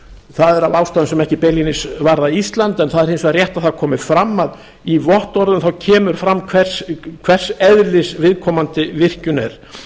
það er af ástæðum sem ekki beinlínis varða ísland en það er hins vegar rétt að það komi fram að í vottorðum kemur fram hvers eðlis viðkomandi virkjun er